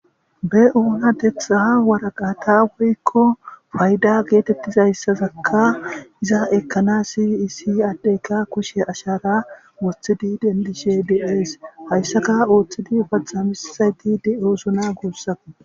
be7oona tetxaha waraqata woykko fayda geetettizayssazakka iza ekkana si isi addeyka kushe ashara woththidi dendishe beees hayssaka ooththidi paxamisayti de7ooszuna guussako